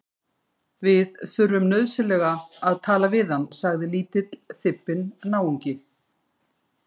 Við þurfum nauðsynlega að tala við hann sagði lítill, þybbinn náungi.